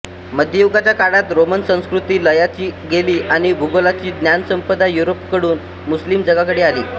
मध्ययुगाच्या काळात रोमन संस्कृती लयाला गेली आणि भूगोलाची ज्ञानसंपदा युरोपकडून मुस्लिम जगाकडे आली